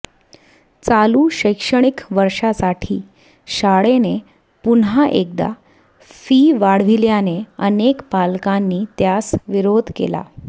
चालू शैक्षणिक वर्षासाठी शाळेने पुन्हा एकदा फी वाढविल्याने अनेक पालकांनी त्यास विरोध केला